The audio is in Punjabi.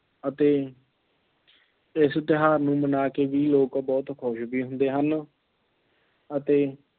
ਅਤੇ ਇਸ ਤਿਉਹਾਰ ਨੂੰ ਮਨਾ ਕੇ ਵੀ ਲੋਕ ਬਹੁਤ ਖੁਸ਼ ਵੀ ਹੁੰਦੇ ਹਨ ਅਤੇ